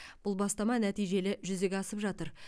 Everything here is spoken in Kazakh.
бұл бастама нәтижелі жүзеге асып жатыр